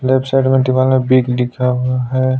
Left side में दीवाल में बिग लिखा हुआ है।